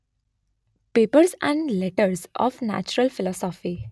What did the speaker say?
papers and letters of natural philosophy